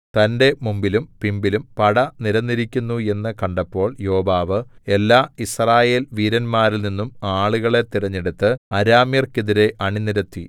തന്റെ മുമ്പിലും പിമ്പിലും പട നിരന്നിരിക്കുന്നു എന്നു കണ്ടപ്പോൾ യോവാബ് എല്ലാ യിസ്രായേൽ വീരന്മാരിൽനിന്നും ആളുകളെ തിരഞ്ഞെടുത്തു അരാമ്യർക്കെതിരെ അണിനിരത്തി